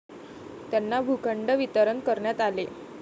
त्यांना भूखंड वितरण करण्यात आले.